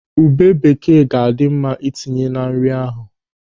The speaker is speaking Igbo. Ube bekee ga-adị mma itinye na nri ahụ.